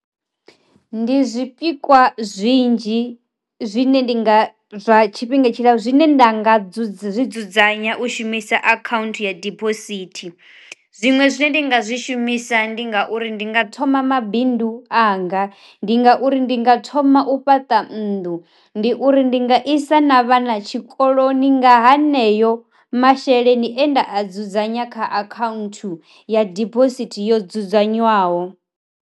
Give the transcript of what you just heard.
Ndi zwi pikwa zwinzhi zwine ndi nga zwa tshifhinga tshila zwine nda nga dzudzanya u shumisa akhaunthu ya diphosithi, zwiṅwe zwine ndi nga zwi shumisa ndi ngauri ndi nga thoma mabindu u anga, ndi ngauri ndi nga thoma u fhaṱa nnḓu, ndi uri ndi nga isa na vhana tshikoloni nga haneyo masheleni ane nda a dzudzanya kha akhanthu ya dibosithi yo dzudzanywaho.